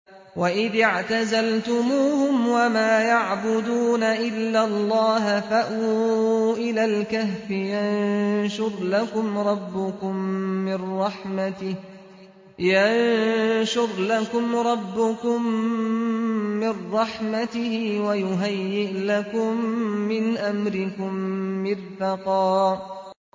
وَإِذِ اعْتَزَلْتُمُوهُمْ وَمَا يَعْبُدُونَ إِلَّا اللَّهَ فَأْوُوا إِلَى الْكَهْفِ يَنشُرْ لَكُمْ رَبُّكُم مِّن رَّحْمَتِهِ وَيُهَيِّئْ لَكُم مِّنْ أَمْرِكُم مِّرْفَقًا